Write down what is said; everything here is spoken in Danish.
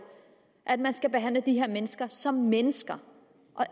at man skal behandle de her mennesker som mennesker